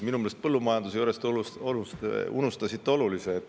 Minu meelest põllumajanduse juures te unustasite ühe olulise asja.